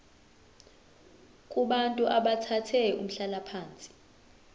kubantu abathathe umhlalaphansi